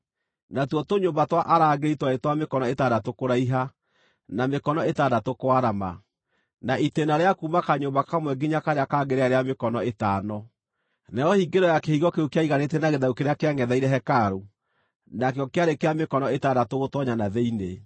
Natuo tũnyũmba twa arangĩri twarĩ twa mĩkono ĩtandatũ kũraiha, na mĩkono ĩtandatũ kwarama, na itĩĩna rĩa kuuma kanyũmba kamwe nginya karĩa kangĩ rĩarĩ rĩa mĩkono ĩtano. Nayo hingĩro ya kĩhingo kĩu kĩariganĩtie na gĩthaku kĩrĩa kĩangʼetheire hekarũ, nakĩo kĩarĩ kĩa mĩkono ĩtandatũ gũtoonya na thĩinĩ.